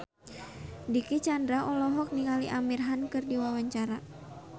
Dicky Chandra olohok ningali Amir Khan keur diwawancara